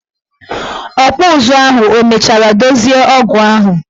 Ọkpụụzụ ahụ emechara dozie ọgụ ahụ?